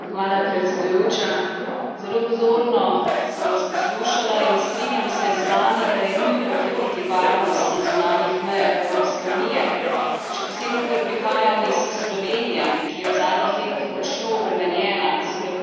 Zelo pozorno sem vas poslušala in strinjam se z vami, da je nujno okrepiti varnost na zunanjih mejah Evropske unije, še posebno ker prihajam iz Slovenije, ki je v zadnjih tednih močno obremenjena s prehodom na tisoče beguncev